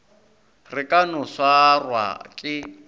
re ka no swarwa ke